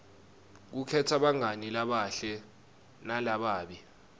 kukhetsa bangani labahle nalababi